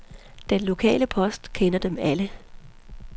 Den lokale post kender dem alle.